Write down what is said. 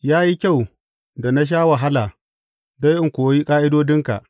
Ya yi kyau da na sha wahala don in koyi ƙa’idodinka.